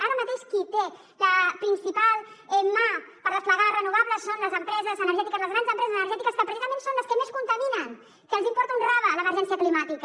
ara mateix qui té la principal mà per desplegar renovables són les empreses energètiques les grans empreses energètiques que precisament són les que més contaminen que els importa un rave l’emergència climàtica